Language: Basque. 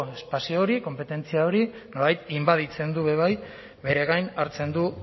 espazio hori konpetentzia hori nolabait inbaditzen du ere bai bere gain hartzen du